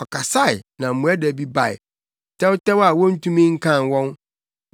Ɔkasae, na mmoadabi bae, tɛwtɛw a wontumi nkan wɔn;